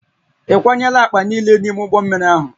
Ị kwanyela akpa niile n'ime ụgbọ mmiri ahụ?